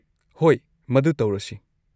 ꯍꯣꯏ, ꯃꯗꯨ ꯇꯧꯔꯁꯤ꯫